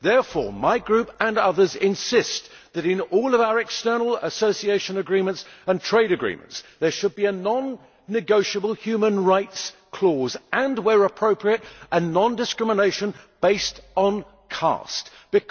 Therefore, my Group and others insist that in all of our external association agreements and trade agreements there should be a non negotiable human rights clause and, where appropriate, a non discrimination based on caste clause.